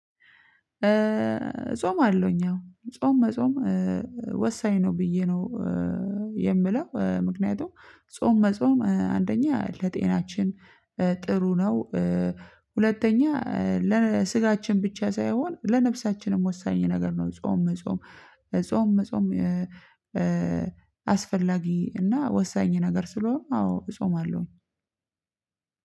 ጾማለሁኝ አው። ጾም መጾም ወሳኝ ነው ብዬ ነው የምለው፣ ምክንያቱም ጾም መጾም አንደኛ ለጤናችን ጥሩ ነው። ሁለተኛ ለስጋችን ብቻ ሳይሆን ለነፍሳችንም ወሳኝ ነገር ነው ጾም መጾም ጾም መጾም አስፈላጊ እና ወሳኝ ነገር ስለሆነ አዎ እጾማለሁ።